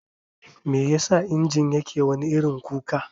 Meyasa injin yake wani irin kuka?